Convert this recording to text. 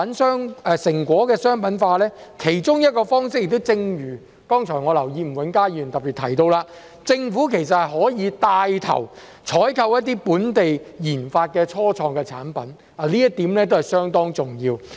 成果商品化的其中一個方式，我留意到吳永嘉議員剛才也特別提到，政府其實可以帶頭採購一些本地研發的初創產品，這一點是相當重要。